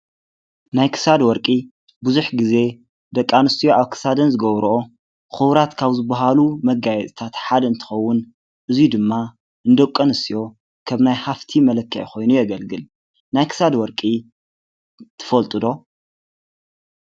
ናይ ክሳድ ወርቂ ብዙሕ ግዜ ደቂ ኣንስትዮ ኣብ ክሳደን ዝገብርኦ ኩቡራት ካብ ዝባሃሉ መጋየፅታት ሓደ እንትኸውን እዙይ ድማ ንደቂ ኣንስትዮ ከም ናይ ሃፍቲ መለክዒ ኮይኑ የገልግል። ናይ ክሳድ ወርቂ ትፈልጡ ዶ?